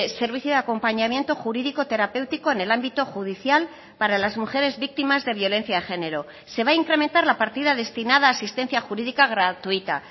servicio de acompañamiento jurídico terapéutico en el ámbito judicial para las mujeres víctimas de violencia de género se va a incrementar la partida destinada a asistencia jurídica gratuita